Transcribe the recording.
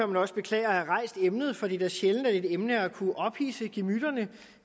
man også beklager at have rejst emnet for det er da sjældent at et emne har kunnet ophidse gemytterne